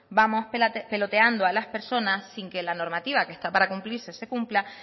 vamos peloteando a las personas sin que la normativa que está para cumplirse se cumpla